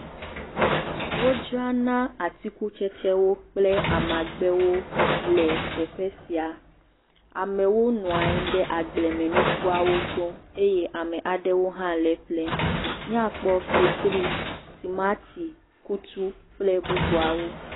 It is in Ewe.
Wodzra na atikutsetse kple amagbewo le teƒe sia. Amewo nɔ anyi ɖe agblemenukuawo gbɔ. Ame aɖewo hã le eƒlem. Miakpɔ fetri, tomato, kutu kple bubuawo.